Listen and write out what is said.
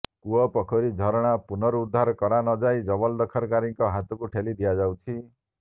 କୂଅ ପୋଖରୀ ଝରଣା ପୁନରୁଦ୍ଧାର କରା ନ ଯାଇ ଜବରଦଖଲକାରୀଙ୍କ ହାତକୁ ଠେଲି ଦିଆଯାଉଛି